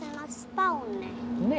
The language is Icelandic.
á